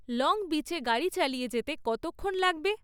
Long বিচে গাড়ি চালিয়ে যেতে কতক্ষণ লাগবে?